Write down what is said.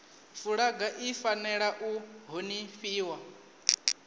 fulaga i fanela u honifhiwa